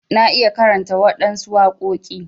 Na iya karanta waɗansu waƙoki.